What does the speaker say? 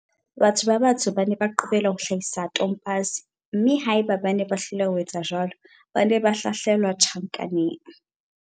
Batho ba batsho ba ne ba qobellwa ho hlahisa tompase, mme haeba bane ba hloleha ho etsa jwalo, ba ne ba hlahlelwa tjhankaneng.